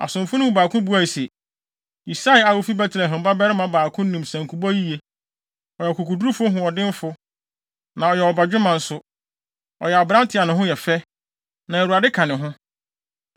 Asomfo no mu baako buae se, “Yisai a ofi Betlehem babarima baako nim sankubɔ yiye. Ɔyɛ ɔkokodurofo hoɔdenfo, na ɔyɛ ɔbadwemma nso. Ɔyɛ aberante a ne ho yɛ fɛ, na Awurade ka ne ho.”